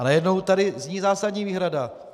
A najednou tady zní zásadní výhrada.